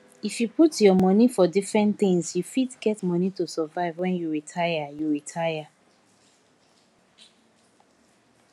if you put your monie for different things you fit get money to survive when you retire you retire